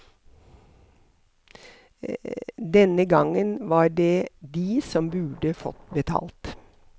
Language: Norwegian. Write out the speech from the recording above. Denne gangen var det de som burde fått betalt.